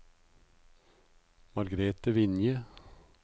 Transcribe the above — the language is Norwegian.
Margrethe Vinje